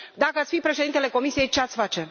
dacă ați fi președintele Comisiei, ce ați face